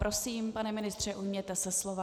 Prosím, pane ministře, ujměte se slova.